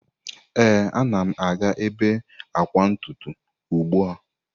Ee, a na m aga ebe akwa ntutu ugbu a.